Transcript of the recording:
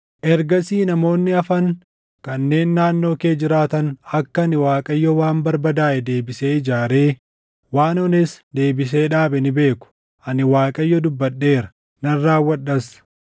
Ergasii namoonni hafan kanneen naannoo kee jiraatan akka ani Waaqayyo waan barbadaaʼe deebisee ijaaree waan ones deebisee dhaabe ni beeku. Ani Waaqayyo dubbadheera; nan raawwadhas.’